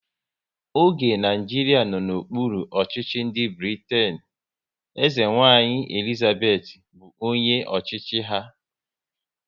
Oge Naijiria nọ n'okpuru ọchịchị ndị Britain, eze nwanyị Elizabeth bụ onye ọchịchị ya